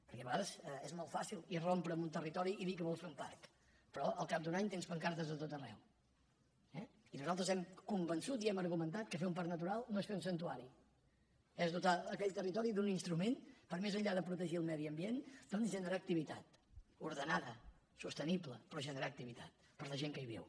perquè a vegades és molt fàcil irrompre en un territori i dir que vols fer un parc però al cap d’un any tens pancartes a tot ar·reu eh i nosaltres hem convençut i hem argumentat que fer un parc natural no és fer un santuari és dotar aquell territori d’un instrument per més enllà de pro·tegir el medi ambient doncs generar activitat orde·nada sostenible però generar activitat per a la gent que hi viu